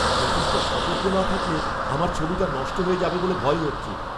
যথেষ্ট সতর্ক না থাকলে আমার ছবিটা নষ্ট হয়ে যাবে বলে ভয় হচ্ছে।